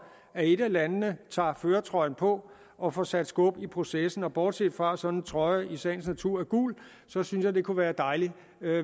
at et af landene tager førertrøjen på og får sat skub i processen og bortset fra at sådan en trøje i sagens natur er gul synes jeg det kunne være dejligt